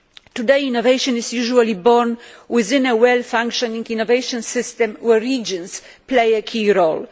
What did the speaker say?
Today, innovation is usually born within a well functioning innovation system in which regions play a key role.